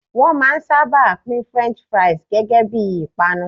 Won maa n saba pin French fries gege bii ipanu